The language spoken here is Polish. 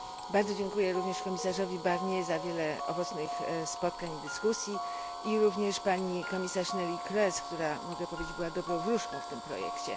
Bardzo dziękuję również komisarzowi Barnier za wiele owocnych spotkań i dyskusji, również pani komisarz Neelie Kroes, która, mogę powiedzieć, była dobrą wróżką tego projektu.